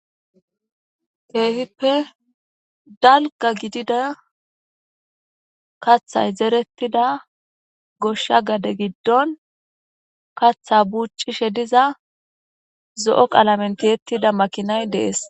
Kehippe daliga gidida kaaththayi zeeretida gosha gade giddoni kaaththa bucishshe diza zoo qalameni tiyetida makinnayi deesi